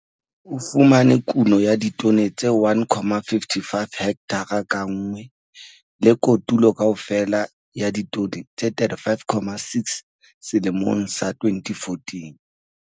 O fumane kuno ya ditone tse 1,55 hekthara ka nngwe le kotulo kaofela ya ditone tse 35,6 selemong sa 2014.